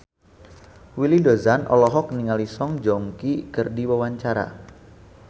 Willy Dozan olohok ningali Song Joong Ki keur diwawancara